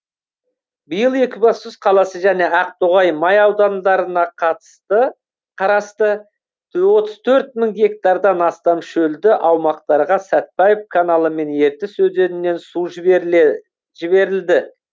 биыл екібастұз қаласы және ақтоғай май аудандарына қарасты отыз төрт мың гектардан астам шөлді аумақтарға сәтбаев каналы мен ертіс өзенінен су жіберілді